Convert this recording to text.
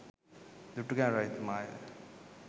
Dutugemunu රජතුමාය.